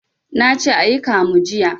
Nace ayi kamu jiya